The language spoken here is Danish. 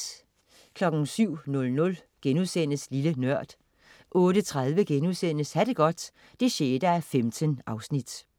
07.00 Lille Nørd* 08.30 Ha' det godt 6:15*